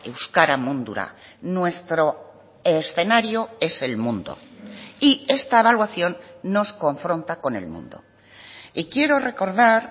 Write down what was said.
euskara mundura nuestro escenario es el mundo y esta evaluación nos confronta con el mundo y quiero recordar